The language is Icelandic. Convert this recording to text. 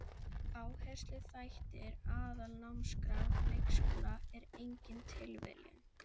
Áhersluþættir Aðalnámskrár leikskóla er engin tilviljun.